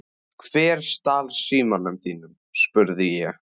Hver stal símanum þínum? spurði ég.